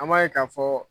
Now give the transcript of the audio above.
An b'a ye k'a fɔ